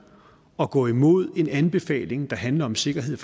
at gå imod en anbefaling der handler om sikkerhed